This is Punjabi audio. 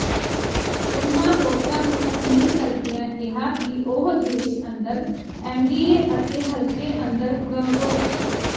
ਉਨ੍ਹਾਂ ਵੋਟਰਾਂ ਨੰੂ ਅਪੀਲ ਕਰਦਿਆਂ ਕਿਹਾ ਕਿ ਉਹ ਦੇਸ਼ ਅੰਦਰ ਐੱਨਡੀਏ ਅਤੇ ਹਲਕੇ ਅੰਦਰ ਪ੍ਰਰੋ